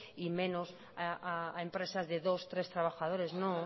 y menos a empresas de dos tres trabajadores no